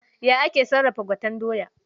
Ya ake sarrafa gwaten doya?